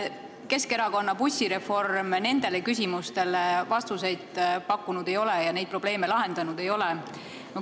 Keskerakonna bussireform nendele küsimustele vastuseid pakkunud ei ole ja neid probleeme lahendanud ei ole.